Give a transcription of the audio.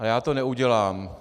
A já to neudělám.